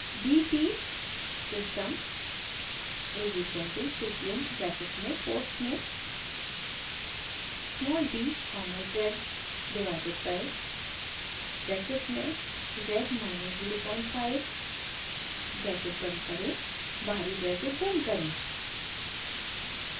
d t system is equal to syslin bracket में quotes में small d comma z divided by bracket में z minus 05 bracket बंद करें बाहरी ब्रैकेट बंद करें